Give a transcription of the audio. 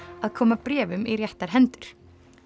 að koma bréfum í réttar hendur